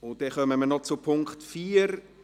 Wir kommen zum Punkt 4;